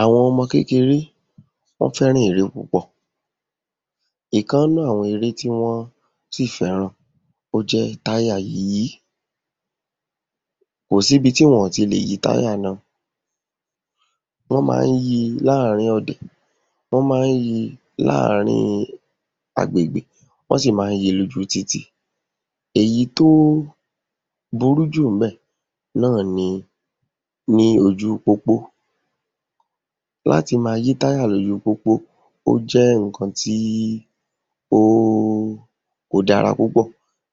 Àwọn ọmọ kékeré, wọ́n fẹ́ràn eré púpò. Ìkan nínú àwọn eré tí wọ́n sì fẹ́ràn o je táyà yíyí. Kò síbi tí wọn ò ti lè yí táyà náà. Wọ́n má ń yí i láàárín ọ̀dẹ̀, wọ́n má ń yí i láàárín agbègbè, wọ́n sì má ń yí i lóju títì. Èyí tó burú jù ńbẹ̀ náà ni ní ojú pópó. Láti máa yí táyà l’ójú pópó ó jẹ́ nǹkan tí ó, kò dára púpò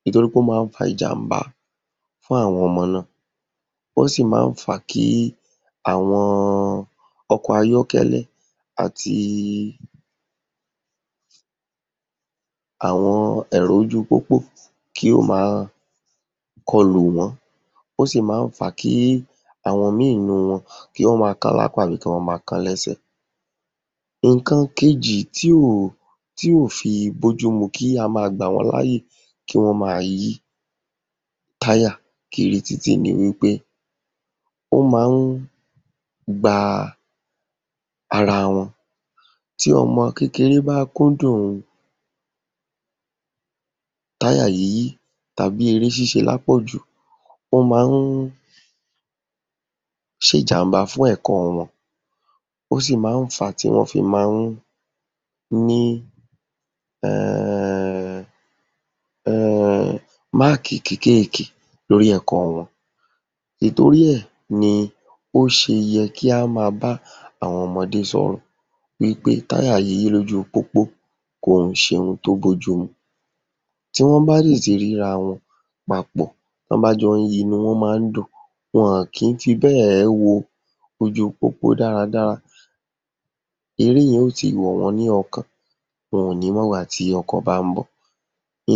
ìtorí ó má ń fa ìjàm̀bá fún àwọn ọmọ náà. Ó sì má ń fà á kí àwọn ọkọ̀ ayọ́kẹ́lẹ́ àti àwọn ẹ̀rọ ojú pópó kí ó máa kọ lù wón. Ó sì má ń fà á kí àwọn míì inú wọn kí wọ́n máa kán l’ápá àbí kí wọ́n máa kán lẹ́sẹ̀. Nǹkan kejì tí ò tí ò fi bójúmu kí a máa gbà wọ́n láyè kí wón máa yí táyà kiri títì ni wí pé ó má ń gba ara wọn. Tí ọmọ kékeré bá kúndùn táyà yíyí àbí eré ṣíṣe lápọ̀jù, ó má ń ṣe ìjàm̀bá fún ẹ̀kọ́ wọn, ó sì má ń fà á tí wọ́n fi má ń ní um máàkì kékèké lórí ẹ̀kọ́ wọn. Ìtorí ẹ̀ ni ó ṣe yẹ kí á máa bá àwọn ọmọdé sọ̀rọ̀ wí pé táyà yíyí lójú pópó kò ń ṣe ohun tí ó bójúmu. Tí wọ́n bá sì ti rí rawọn papọ̀, tí wọ́n bá jọ ń yí i, inú wọn má ń dùn, wọn òn kí ń fi bẹ́ẹ̀ wo ojú pópó dáradára. Eré yẹn ó ti wọ̀ wọ́n ní ọkàn. Wọn ò ní mọ̀gbà tí ọkọ̀ bá ń bọ̀.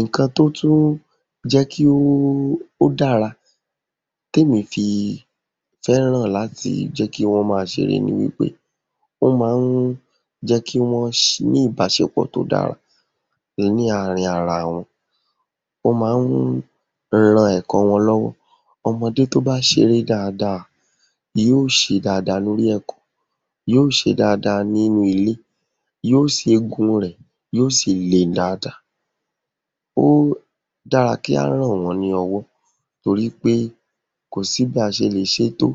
Nǹkan tó tún jẹ́ kí ó dára k’éèyàn ó fi fẹ́ràn kí wọ́n máa ṣeré ni wí pé ó má ń jẹ́ kí wọ́n ní ìbáṣepọ̀ tí ó dára ní àárín ara wọn. Ó má ń ran ẹ̀kọ́ wọn lọ́wọ́. Ọmọdé tó bá ṣeré dáadáa yóó ṣe dáadáa lórí ẹ̀kọ́, yóó ṣe dáadáa nínú ilé. Yóó ṣe, eegun rẹ̀ yóó sì le dáadáa. Ó dára kí á ràn wọ́n lọ́wọ́ torí pé kò sí bí a ṣe lè ṣe tó…